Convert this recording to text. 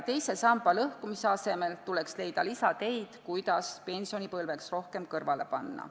Teise samba lõhkumise asemel tuleks leida lisateid, kuidas pensionipõlveks rohkem kõrvale panna.